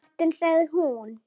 Martin sagði hún.